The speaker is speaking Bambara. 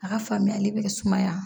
A ka faamuyali bɛ kɛ sumaya